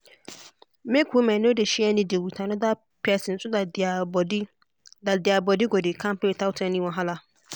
make women no dey share needle with another person so that their body that their body go dey kampe without any wahala.